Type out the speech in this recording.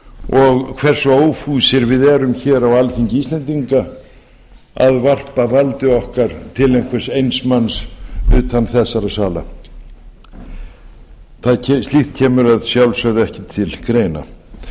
og hversu ófúsir við erum hér á alþingi íslendinga að varpa valdi okkar til einhvers eins manns utan þessara sala slíkt kemur að sjálfsögðu ekki til greina